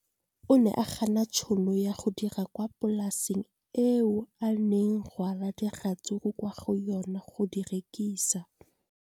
O ne a gana tšhono ya go dira kwa polaseng eo a neng rwala diratsuru kwa go yona go di rekisa.